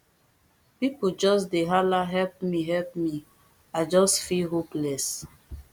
pipo just dey halahelp me help me i just feel hopeless